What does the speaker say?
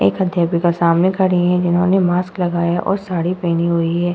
एक अध्यापिका सामने खड़ी है जिन्होंने मास्क लगाया और साड़ी पहनी हुई है।